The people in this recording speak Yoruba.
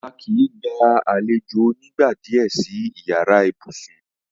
À kí í gbà alẹ̀jọ onígnàdíé sì ìyàrá ìbùṣún.